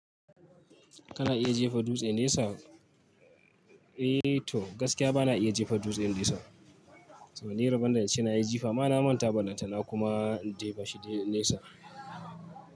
Kana iya jefa dutse nesa? Eh toh gaskiya bana iya jefa dutse nesa. Saboda ni rabonda ince nayi jifa ma na manta balan ta na kuma in jefa shi nesa.